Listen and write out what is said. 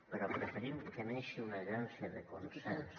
però preferim que neixi una agència de consens